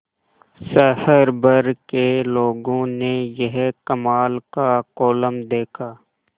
शहर भर के लोगों ने यह कमाल का कोलम देखा